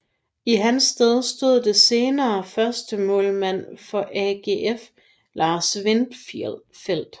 I hans sted stod den senere førstemålmand for AGF Lars Windfeld